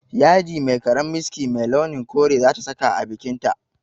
Yadi mai karen miski mai launin kore za ta saka a bikinta